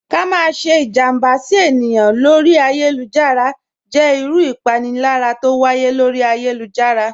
Ká má sẹ́ ìjàmbá sí èyàn lọ́rí ayélujára jẹ́ ìrù ìpánìlàyà t'ọ wáyé lọ́rí ayélujára.